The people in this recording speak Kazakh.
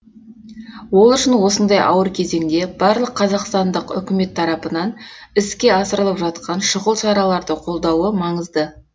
ол үшін осындай ауыр кезеңде барлық қазақстандық үкімет тарапынан іске асырылып жатқан шұғыл шараларды қолдауы маңызды